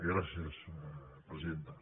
gràcies presidenta